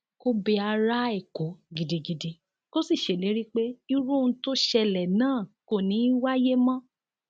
kò bẹ ara èkó gidigidi kó sì ṣèlérí pé irú ohun tó ṣẹlẹ náà kò ní í wáyé mọ